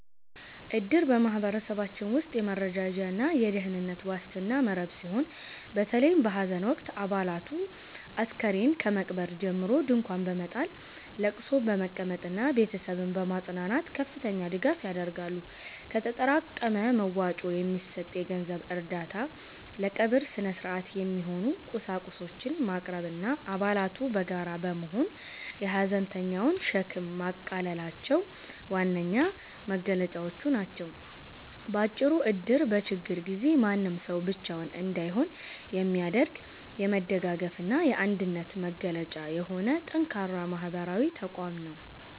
እድር በማኅበረሰባችን ውስጥ የመረዳጃና የደኅንነት ዋስትና መረብ ሲሆን፤ በተለይም በሐዘን ወቅት አባላቱ አስከሬን ከመቅበር ጀምሮ ድንኳን በመጣል፣ ለቅሶ በመቀመጥና ቤተሰብን በማጽናናት ከፍተኛ ድጋፍ ያደርጋሉ። ከተጠራቀመ መዋጮ የሚሰጥ የገንዘብ እርዳታ፣ ለቀብር ሥነ-ሥርዓት የሚሆኑ ቁሳቁሶችን ማቅረብና አባላቱ በጋራ በመሆን የሐዘንተኛውን ሸክም ማቃለላቸው ዋነኛ መገለጫዎቹ ናቸው። ባጭሩ እድር በችግር ጊዜ ማንም ሰው ብቻውን እንዳይሆን የሚያደርግ፣ የመደጋገፍና የአንድነት መገለጫ የሆነ ጠንካራ ማኅበራዊ ተቋም ነው።